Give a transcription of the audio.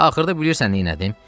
Axırda bilirsən neynədim?